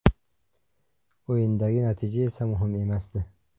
O‘yindagi natija esa muhim emasdi.